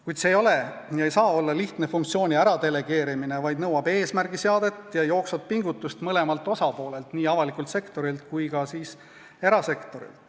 Kuid see ei ole ja ei saa olla lihtne funktsiooni delegeerimine, vaid nõuab eesmärgiseadet ja jooksvat pingutust mõlemalt osapoolelt, nii avalikult sektorilt kui ka erasektorilt.